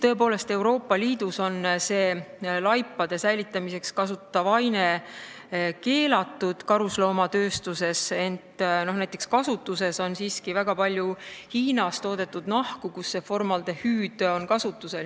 Tõepoolest, Euroopa Liidus on see laipade säilitamiseks kasutatav aine karusnahatööstuses keelatud, ent kasutuses on siiski väga palju Hiinas toodetud nahku, kus formaldehüüdi kasutatakse.